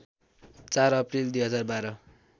४ April २०१२